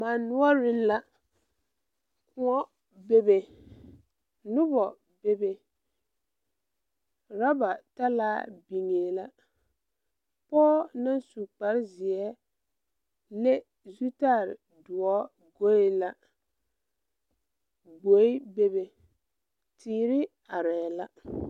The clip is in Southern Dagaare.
Mane noɔreŋ la kõɔ bebe nobɔ bebe rɔba talaa biŋee la pɔɔ naŋ su kparezeɛ leŋ zutal doɔ goe la gboe bebe teere arɛɛ la.